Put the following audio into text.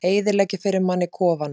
Eyðileggja fyrir manni kofana!